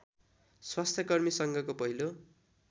स्वास्थ्यकर्मी सङ्घको पहिलो